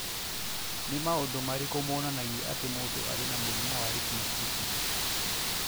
Nĩ maũndũ marĩkũ monanagia atĩ mũndũ arĩ na mũrimũ wa retinoschisis?